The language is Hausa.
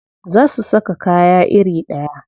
Za su saka kaya iri ɗaya.